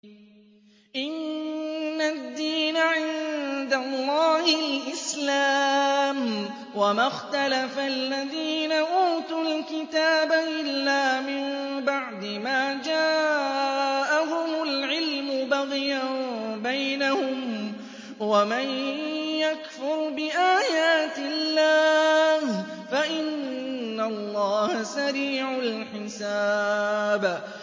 إِنَّ الدِّينَ عِندَ اللَّهِ الْإِسْلَامُ ۗ وَمَا اخْتَلَفَ الَّذِينَ أُوتُوا الْكِتَابَ إِلَّا مِن بَعْدِ مَا جَاءَهُمُ الْعِلْمُ بَغْيًا بَيْنَهُمْ ۗ وَمَن يَكْفُرْ بِآيَاتِ اللَّهِ فَإِنَّ اللَّهَ سَرِيعُ الْحِسَابِ